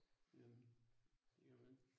Gør man, gør man